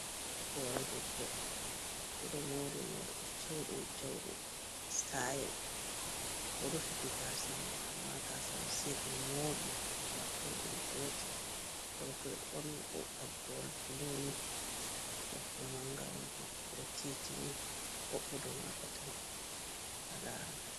Hore debbo oɗo mori morɗi siuɗum siuɗum sitayel ɗo rufiti gasa mi amma gasa mi sei ɓe moɓi be wartir ɗum gotel rufi borni ta gowal buluni debbo man gawon bo modo titini hobbudu mako tan ha larata.